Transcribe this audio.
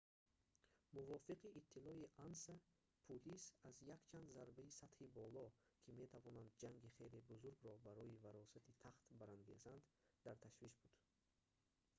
мувофиқи иттилои анса пулис аз якчанд зарбаи сатҳи боло ки метавонанд ҷанги хеле бузургро барои варосати тахт барангезанд дар ташвиш буд